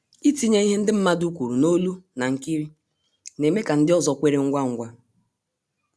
Ịtinye ihe ndị mmadụ kwuru n'olu na nkiri na-eme ka ndị ọzọ kweere ngwa ngwa